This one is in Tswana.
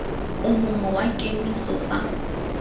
o mongwe wa kemiso fa